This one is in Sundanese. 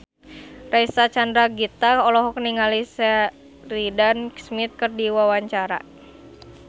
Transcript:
Reysa Chandragitta olohok ningali Sheridan Smith keur diwawancara